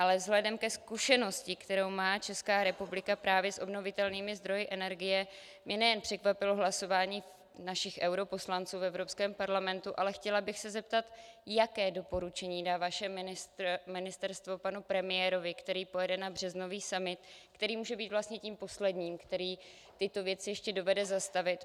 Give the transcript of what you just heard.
Ale vzhledem ke zkušenosti, kterou má Česká republika právě s obnovitelnými zdroji energie, mě nejen překvapilo hlasování našich europoslanců v Evropském parlamentu, ale chtěla bych se zeptat, jaké doporučení dá vaše ministerstvo panu premiérovi, který pojede na březnový summit, který může být vlastně tím posledním, který tyto věci ještě dovede zastavit.